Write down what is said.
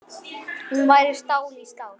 Hún væri stál í stál.